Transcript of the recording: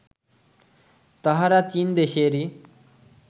তাহারা চীন দেশেরই